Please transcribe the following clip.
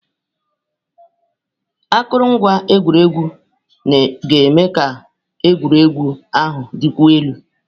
Akụrụngwa egwuregwu ga-eme ka egwuregwu ahụ dịkwuo elu.